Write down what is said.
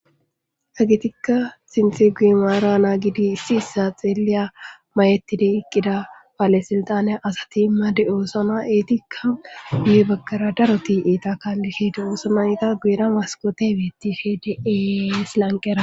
Agetikka sinxi gui maara naa gidi issi issa xeelliya mayettide iqqida baale silxane asati made oosona eetikka gu baggara daroti iita kaallihe de oosona iita guuera maskote betife de es lanqera